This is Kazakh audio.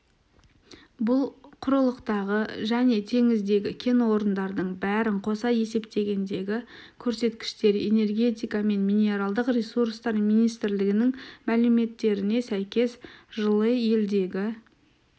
бұл құрылықтағы және теңіздегі кен орындардың бәрін қоса есептегендегі көрсеткіштер энергетика және минералдық ресурстар министрлігінің мәліметтеріне сәйкес жылы елдегі